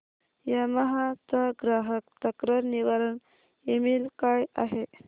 Yamaha चा ग्राहक तक्रार निवारण ईमेल काय आहे